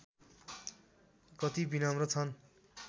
कति विनम्र छन्